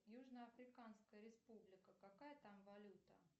южно африканская республика какая там валюта